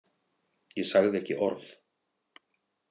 Ég sagði ekki orð.